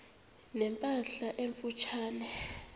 ne mpahla emfutshane